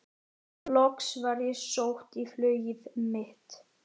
Loks var ég sótt í flugið mitt.